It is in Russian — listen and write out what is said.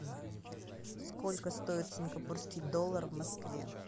сколько стоит сингапурский доллар в москве